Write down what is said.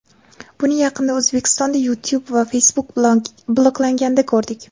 Buni yaqinda O‘zbekistonda YouTube va Facebook bloklanganda ko‘rdik.